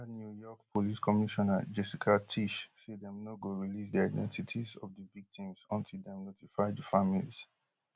earliernew york police commissioner jessica tisch say dem no go release di identities of di victims until dem notify di families